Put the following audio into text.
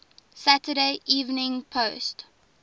saturday evening post